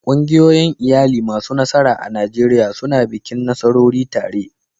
Ƙungiyoyin iyali masu nasara a Najeriya suna bikin nasarori tare.